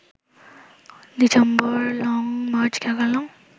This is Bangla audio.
December long march ঠেকাল